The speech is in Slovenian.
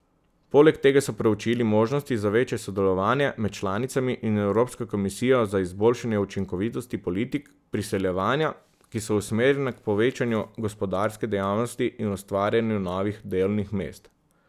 Poleg tega so preučili možnosti za večje sodelovanje med članicami in Evropsko komisijo za izboljšanje učinkovitosti politik priseljevanja, ki so usmerjene k povečanju gospodarske dejavnosti in ustvarjanju novih delovnih mest.